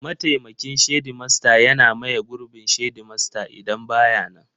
Mataimakin shedimasta yana maye gurbin shedimasta idan ba ya nan.